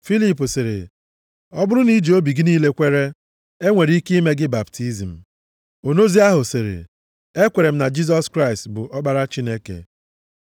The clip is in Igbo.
Filip sịrị, “Ọ bụrụ na i ji obi gị niile kwere, e nwere ike ime gị baptizim.” Onozi ahụ sịrị, “Ekwere m na Jisọs Kraịst bụ Ọkpara Chineke.” + 8:37 Ụfọdụ akwụkwọ adịghị edebanye amaokwu a na-ekwu banyere ihe Filip kwuru na ihe onozi zara ya.